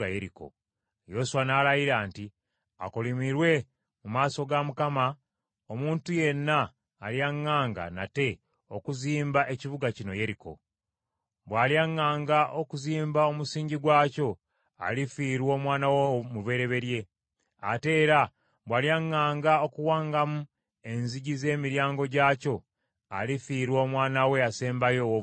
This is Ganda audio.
Yoswa n’alayira nti, “Akolimirwe mu maaso ga Mukama omuntu yenna alyaŋŋanga nate okuzimba ekibuga kino Yeriko. Bw’alyaŋŋanga okuzimba omusingi gwakyo alifiirwa omwana we omubereberye. Ate era bw’alyaŋŋanga okuwangamu enzigi z’emiryango gyakyo, alifiirwa omwana we asembayo owoobulenzi.”